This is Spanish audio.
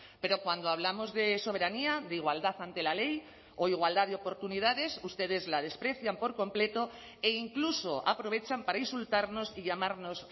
pero cuando hablamos de soberanía de igualdad ante la ley o igualdad de oportunidades ustedes la desprecian por completo e incluso aprovechan para insultarnos y llamarnos